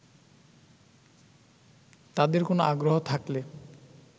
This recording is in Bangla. তাদের কোন আগ্রহ থাকলে